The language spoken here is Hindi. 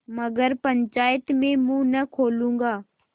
मगर पंचायत में मुँह न खोलूँगा